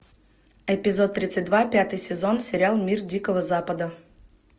эпизод тридцать два пятый сезон сериал мир дикого запада